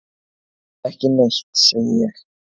Ekki neitt, segi ég.